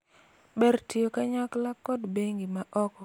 ber tiyo kanyakla kod bengi ma oko kod ma iye